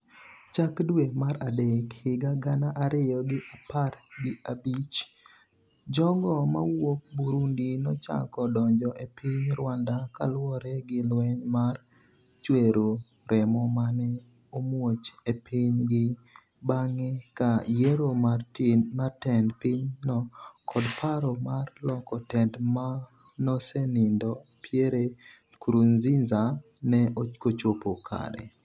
chak dwe mar adek higa gana ariyo gi apar gi abich, jogo mawuok Burundi nochako donjo e piny Rwanda kaluwore gi lweny mar chwero remo mane omuoch e piny gi bang'e ka yiero mar tend piny no kod paro mar loko tend manosenindo Pierre Nkurunziza ne okochopo kare